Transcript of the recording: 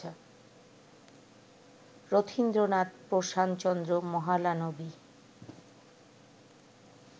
Rathindranath, Prasanta Chandra Mahalanobis